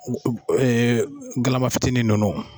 Ɛɛ galama fitinin nunnu.